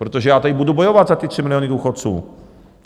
Protože já tady budu bojovat za ty 3 miliony důchodců.